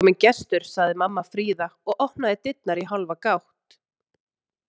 Það er kominn gestur, sagði mamma Fríða og opnaði dyrnar í hálfa gátt.